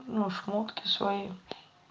ну шмотки свои